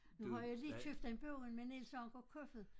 Nu har jeg lige købt en bog med Niels Anker Kofoed